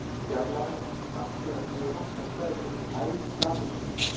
Fjarlægðin á milli samsíða hliðanna tveggja er kölluð hæð trapisunnar.